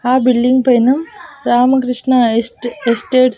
ఆ బిల్డింగ్ పైన రామకృష్ణ ఎస్టే ఎస్టేట్స్ .